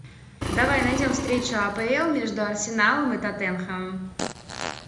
давай найдем встречу апл между арсеналом и тоттенхэмом